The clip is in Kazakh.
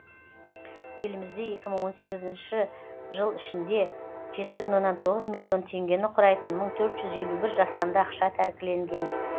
елімізде екі мың он сегізінші жыл ішінде жеті бүтін оннан тоғыз миллион теңгені құрайтын мың төрт жүз елу бір жасанды ақша тәркіленген